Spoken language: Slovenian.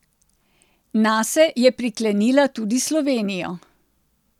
Nase je priklenila tudi Slovenijo.